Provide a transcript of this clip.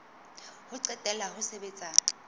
ho qetela la ho sebetsa